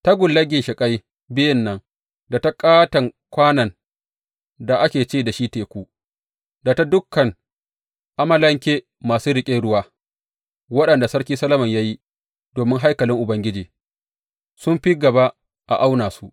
Tagullar ginshiƙai biyun nan, da ta ƙaton kwanon da ake ce da shi Teku, da ta dukan amalanke masu riƙe ruwa waɗanda Sarki Solomon ya yi domin haikalin Ubangiji, sun fi gaba a auna su.